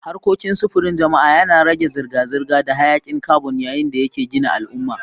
Harkokin sufurin jama'a yana rage zirga-zirga da hayakin carbon yayin da yake gina al'umma.